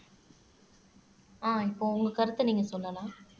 அஹ் இப்ப உங்க கருத்தை நீங்க சொல்லலாம்